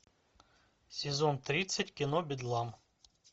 сезон тридцать кино бедлам